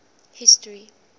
history